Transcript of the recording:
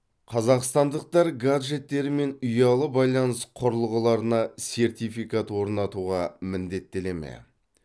қазақстандықтар гаджеттері мен ұялы байланыс құрылғыларына сертификат орнатуға міндеттеле ме